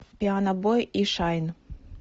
пианобой и шайн